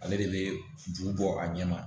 Ale de bɛ ju bɔ a ɲɛ ma